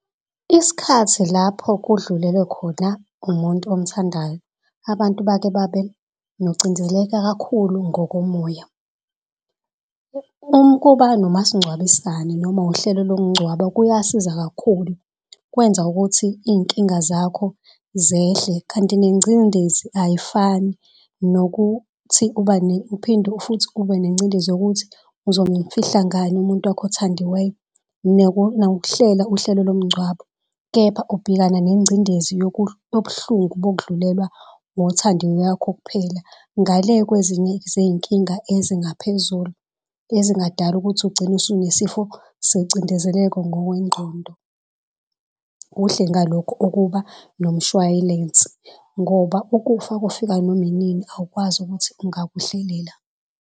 Isikhathi lapho kudlulele khona umuntu omthandayo, abantu bake babe nocinzeleka kakhulu ngokomoya. Ukuba nomasingcwabisane noma uhlelo lokungcwaba kuyasiza kakhulu kwenza ukuthi iy'nkinga zakho zehle kanti nengcindezi ayifani nokuthi uphinde futhi ube nengcindezi yokuthi uzomfihla ngani umuntu wakho othandiweyo nangokuhlela uhlelo lomngcwabo. Kepha ubhekana nengcindezi yobuhlungu bokudlulelwa ngothandiwe wakho kuphela ngale kwezinye zey'nkinga ezingaphezulu. Ezingadala ukuthi ugcine unesifo secindezeleko ngokwengqondo. Kuhle ngalokho ukuba nomshway'lense ngoba ukufa kufika noma inini awukwazi ukuthi ungakuhlelela.